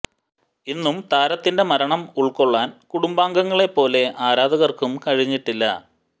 ഇന്നും താരത്തിന്റെ മരണം ഉൾക്കൊള്ളാൻ കുടുംബാംഗങ്ങളെ പോലെ ആരാധകർക്കും കഴിഞ്ഞിട്ടില്ല